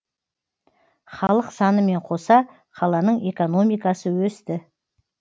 халық санымен қоса қаланың экономикасы өсті